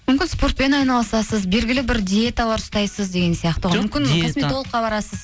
мүмкін спортпен айналысасыз белгілі бір диеталар ұстайсыз деген сияқты ғой мүмкін косметологқа барасыз